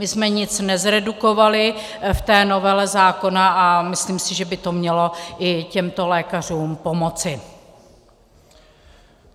My jsme nic nezredukovali v té novele zákona a myslím si, že by to mělo i těmto lékařům pomoci.